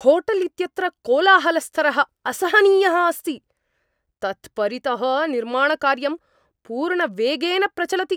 Hotel इत्यत्र कोलाहलस्तरः असहनीयः अस्ति, तत् परितः निर्माणकार्यं पूर्णवेगेन प्रचलति।